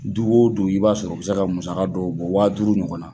Du o du i b'a sɔrɔ o bɛ se ka musaka dɔw bɔ waa duuru ɲɔgɔnna